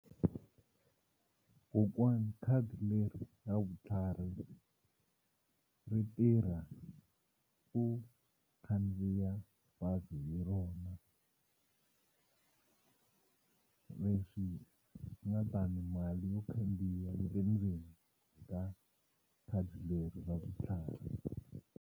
Kokwani khadi leri ra vutlhari ri tirha ku khandziya bazi hi rona leswi nga ta ni mali yo khandziya yi le ndzeni ka khadi leri ra vutlhari.